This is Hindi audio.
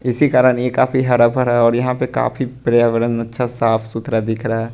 इसी कारण ये काफी हरा भरा और यहां पे काफी पर्यावरण अच्छा साफ सुथरा दिख रहा है।